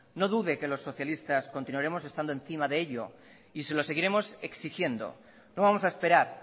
no dude que los socialistas continuaremos estando encima de ello y se lo seguiremos exigiendo no vamos a esperar